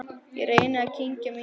Ég reyni að kyngja mínu.